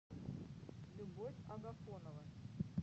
любовь агафонова